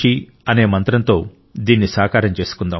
అనే మంత్రంతో దీన్ని సాకారం చేసుకుందాం